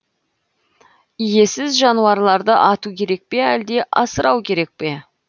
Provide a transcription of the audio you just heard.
иесіз жануарларды ату керек пе әлде асырау керек пе